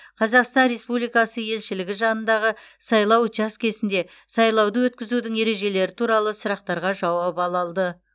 қазақстан республикасы елшілігі жанындағы сайлау учаскесінде сайлауды өткізудің ережелері туралы сұрақтарға жауап ала алды